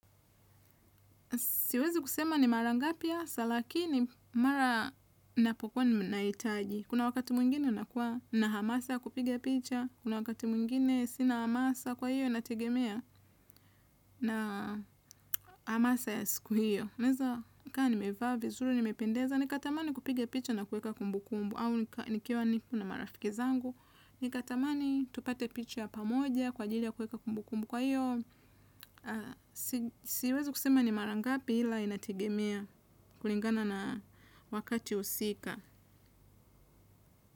Siwezi kusema ni mara ngapi hasa, lakini mara napokwa ninaitaji. Kuna wakati mwingine nakuwa na hamasa kupiga picha. Kuna wakati mwingine sina hamasa kwa hiyo inategemea na hamasa ya siku hiyo. Naeza, kaa ni mevaa vizuri, nimependeza. Nikatamani kupiga picha na kuweka kumbu kumbu au nikiwa nipo na marafiki zangu. Nikatamani tupate picha pamoja kwa ajili ya kuweka kumbu kumbu. Kwa hiyo, siwezi kusema ni mara ngapi ila inategemea kulingana na wakati usika.